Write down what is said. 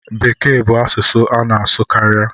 Bekee bu asụsụ a na asụ karịa.